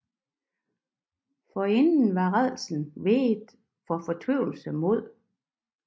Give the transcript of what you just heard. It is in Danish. Forinden var rædslen veget for fortvivlelsens mod